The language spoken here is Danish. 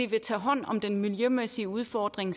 vil tage hånd om den miljømæssige udfordring